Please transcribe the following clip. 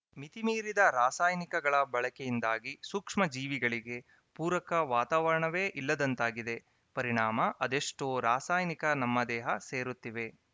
ಮಿತಿ ಮೀರಿದ ರಾಸಾಯನಿಕಗಳ ಬಳಕೆಯಿಂದಾಗಿ ಸೂಕ್ಷ್ಮಜೀವಿಗಳಿಗೆ ಪೂರಕ ವಾತಾವರಣವೇ ಇಲ್ಲದಂತಾಗಿದೆ ಪರಿಣಾಮ ಅದೆಷ್ಟೋ ರಾಸಾಯನಿಕ ನಮ್ಮ ದೇಹ ಸೇರುತ್ತಿವೆ